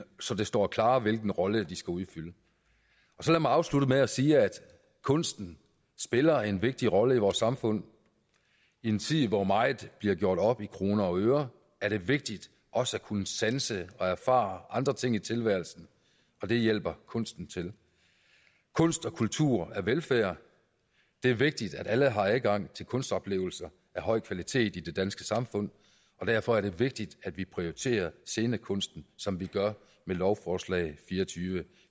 så det står klarere hvilken rolle de skal udfylde så lad mig afslutte med at sige at kunsten spiller en vigtig rolle i vores samfund i en tid hvor meget bliver gjort op i kroner og øre er det vigtigt også at kunne sanse og erfare andre ting i tilværelsen og det hjælper kunsten til kunst og kultur er velfærd det er vigtigt at alle har adgang til kunstoplevelser af høj kvalitet i det danske samfund og derfor er det vigtigt at vi prioriterer scenekunsten som vi gør med lovforslag l fireogtyvende